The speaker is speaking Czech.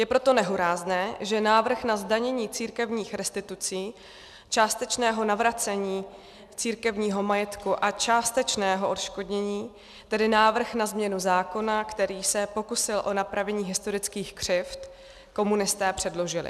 Je proto nehorázné, že návrh na zdanění církevních restitucí, částečného navracení církevního majetku a částečného odškodnění, tedy návrh na změnu zákona, který se pokusil o napravení historických křivd, komunisté předložili.